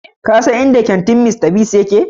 Ka san inda kantin Mr. Biggs yake?